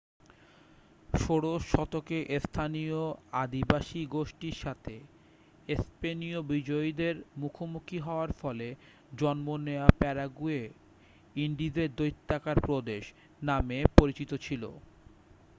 "ষোড়শ শতকে স্থানীয় আদিবাসী গোষ্ঠীর সাথে স্পেনীয় বিজয়ীদের মুখোমুখি হওয়ার ফলে জন্ম নেওয়া প্যারাগুয়ে "ইন্ডিজের দৈত্যাকার প্রদেশ" নামে পরিচিত ছিল।